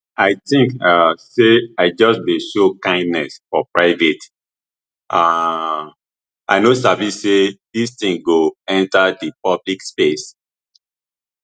i tink um say i just dey show kindness for private um i no sabi say dis tin go enta di public space